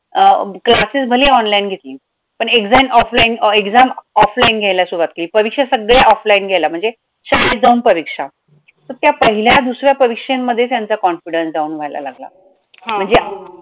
अं classes भलेही online घेतली, पण exam offline अं exam offline घायला सुरवात केली, परीक्षा सगळ्या offline घ्यायला म्हणजे शाळेत जाऊन परीक्षा तर त्या पहिल्या दुसऱ्या परीक्षेमध्ये त्याचा confidence down व्हायला लागला, हा